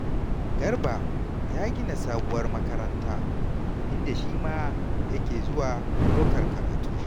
Garba ya gina sabuwar makaranta, inda shi ma yake zuwa ɗaukar karatu.